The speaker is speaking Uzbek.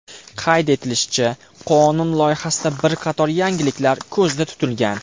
Qayd etilishicha, qonun loyihasida bir qator yangiliklar ko‘zda tutilgan.